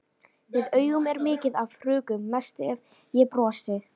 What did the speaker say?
Við augun er mikið af hrukkum, mest ef ég brosi.